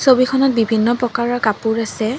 ছবিখনত বিভিন্ন প্ৰকাৰৰ কাপোৰ আছে।